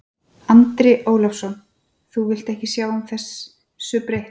Andri Ólafsson: Þú vilt ekki sjá þessu breytt?